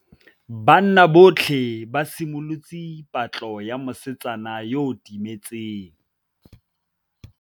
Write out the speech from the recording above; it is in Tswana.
Banna botlhê ba simolotse patlô ya mosetsana yo o timetseng.